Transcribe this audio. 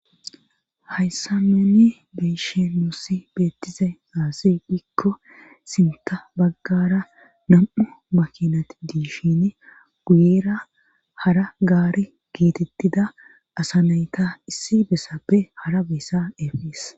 Hayssa meenni beeshe nuussi beettize gaasi dhikko sinta baggara nam7u makinat diishin guyera hara gaari geetettida asanayta issi bessappe hara beyssa efes.